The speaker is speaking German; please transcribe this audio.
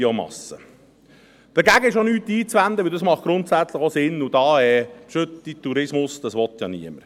Dagegen ist auch nichts einzuwenden, denn das macht grundsätzlich Sinn, und Gülletourismus will ja niemand.